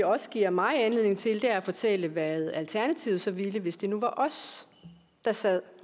også giver mig anledning til er at fortælle hvad alternativet så ville hvis det nu var os der sad